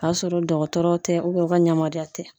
K'a sɔrɔ dɔgɔtɔrɔw tɛ u ka yamaruya tɛ.